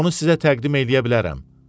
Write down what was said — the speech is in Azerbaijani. Onu sizə təqdim eləyə bilərəm.